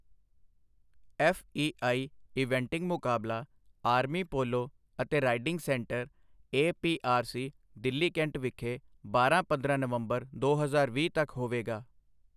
FEI eventing ਮੁਕਾਬਲਾ army polo ਅਤੇ riding centre APRC, Delhi cantt ਵਿਖੇ ਬਾਰਾਂ ਪੰਦਰਾਂ ਨਵੰਬਰ ਦੋ ਹਜ਼ਾਰ ਵੀਹ ਤੱਕ ਹੋਵੇਗਾ।